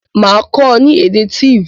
Màá kó o ni èdè Tiv